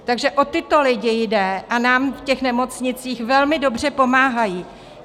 Takže o tyto lidi jde a nám v těch nemocnicích velmi dobře pomáhají.